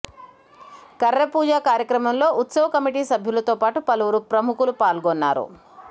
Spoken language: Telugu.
కర్ర పూజ కార్యక్రమంలో ఉత్సవ కమిటీ సభ్యులతో పాటు పలువురు ప్రముఖులు పాల్గొన్నారు